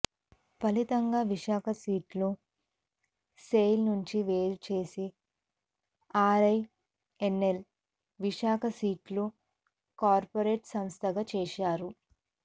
ఫలితంగా విశాఖ స్టీల్ను సెయిల్ నుండి వేరుచేసి ఆర్ఐఎన్ ఎల్ను విశాఖ స్టీలు కార్పొరేట్ సంస్థగా చేశారు